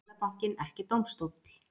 Seðlabankinn ekki dómstóll